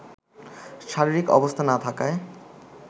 শারীরিক অবস্থা না থাকায়